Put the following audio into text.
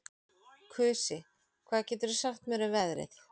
Kusi, hvað geturðu sagt mér um veðrið?